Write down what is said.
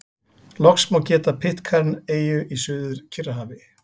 Loks má geta Pitcairn-eyju í Suður-Kyrrahafi.